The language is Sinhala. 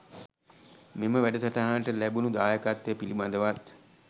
මෙම වැඩසටහනට ලැබුනු දායකත්වය පිළිබදවත්